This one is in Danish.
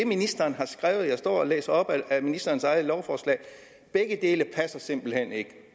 ministeren har skrevet jeg står og læser op af ministerens eget lovforslag begge dele passer simpelt hen ikke